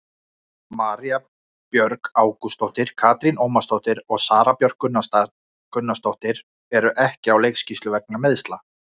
María Björg Ágústsdóttir, Katrín Ómarsdóttir og Sara Björk Gunnarsdóttir eru ekki á leikskýrslu vegna meiðsla.